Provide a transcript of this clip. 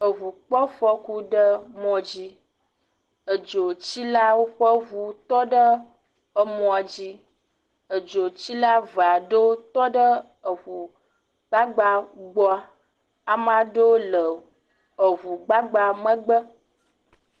Eʋu kpɔ afɔku ɖe mɔdzi. Edzotsilawo ƒe ʋu tɔ ɖe emɔ dzi. Edzotsila eve aɖe tɔ ɖe eʋu gbagba la gbɔ. Ame aɖewo le eʋu gbagba megbe.